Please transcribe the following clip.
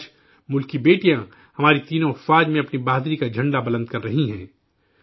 آج، ملک کی بیٹیاں تینوں افواج میں اپنی شجاعت کا پرچم بلند کر رہی ہیں